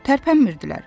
Tərpənmirdilər.